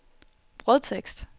brødtekst